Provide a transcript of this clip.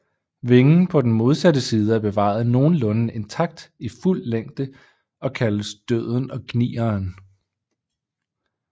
Vingen på den modsatte side er bevaret nogenlunde intakt i fuld længde og kaldes Døden og gnieren